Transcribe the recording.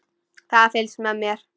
Það er fylgst með mér.